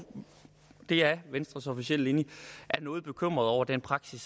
det er venstres officielle linje er noget bekymrede over den praksis